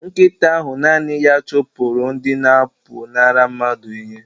Nkịta ahụ naanị ya chụpụrụ ndị na-apụnara mmadụ ihe